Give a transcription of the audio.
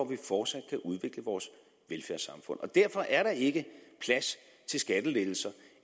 vi fortsat kan udvikle vores velfærdssamfund og derfor er der ikke plads til skattelettelser